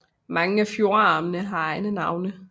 Mange af fjordarmene har egne navne